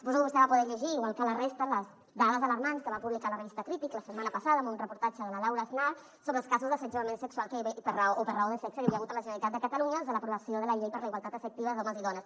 suposo que vostè va poder llegir igual que la resta les dades alarmants que va publicar la revista crític la setmana passada en un reportatge de la laura aznar sobre els casos d’assetjament sexual o per raó de sexe que hi havia hagut a la generalitat de catalunya des de l’aprovació de la llei per a la igualtat efectiva d’homes i dones